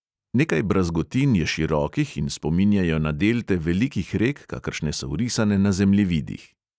Nekaj brazgotin je širokih in spominjajo na delte velikih rek, kakršne so vrisane na zemljevidih.